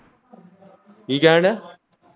ਕੀ ਕਹਿਣ ਦਿਆ।